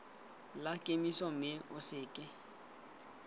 la kemiso mme o seke